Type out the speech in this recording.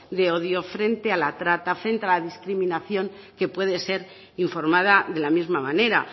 de odio frente a la trata frente a la discriminación que puede ser informada de la misma manera